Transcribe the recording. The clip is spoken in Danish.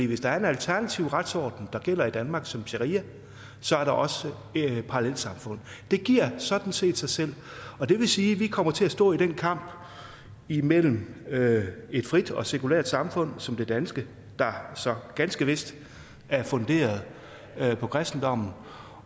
hvis der er en alternativ retsorden der gælder i danmark som sharia er der også parallelsamfund det giver sådan set sig selv det vil sige at vi kommer til at stå i den kamp imellem et frit og sekulært samfund som det danske der så ganske vist er funderet på kristendommen